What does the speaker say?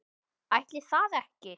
Ætli það ekki.